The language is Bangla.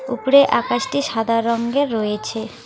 ওপরে আকাশটি সাদা রঙ্গের রয়েছে।